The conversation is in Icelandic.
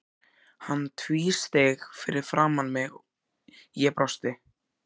Hann tvísteig fyrir framan mig, ég brosti.